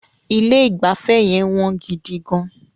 Ilé ìgbafẹ́ yẹn wọ́n gidi gán.